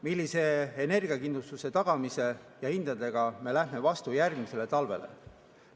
Millise energiakindluse tagamise ja hindadega me lähme vastu järgmisele talvele?